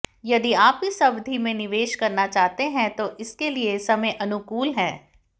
यदि आप इस अवधि में निवेश करना चाहते हैं तो इसके लिए समय अनुकूल है